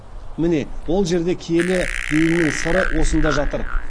міне ол жерде киелі деуімнің сыры осында жатыр